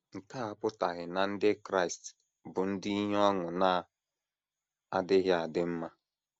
Nke a apụtaghị na Ndị Kraịst bụ ndị ihe ọṅụ na - adịghị adị mma.